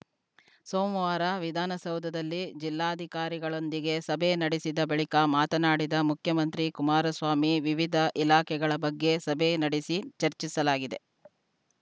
ಸೋಮವಾರ ವಿಧಾನಸೌಧದಲ್ಲಿ ಜಿಲ್ಲಾಧಿಕಾರಿಗಳೊಂದಿಗೆ ಸಭೆ ನಡೆಸಿದ ಬಳಿಕ ಮಾತನಾಡಿದ ಮುಖ್ಯಮಂತ್ರಿ ಕುಮಾರಸ್ವಾಮಿ ವಿವಿಧ ಇಲಾಖೆಗಳ ಬಗ್ಗೆ ಸಭೆ ನಡೆಸಿ ಚರ್ಚಿಸಲಾಗಿದೆ